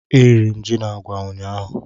Eriri m ji na agwa ụnyaahụ